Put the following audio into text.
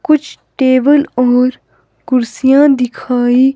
कुछ टेबल और कुर्सियां दिखाई--